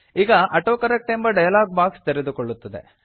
ಈಗ ಆಟೋಕರೆಕ್ಟ್ ಎಂಬ dialog box ತೆರೆದುಕೊಳ್ಳುತ್ತದೆ